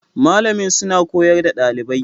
Malamin suna koyar da ɗalibai